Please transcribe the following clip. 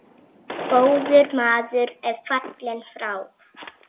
Góður maður er fallinn frá.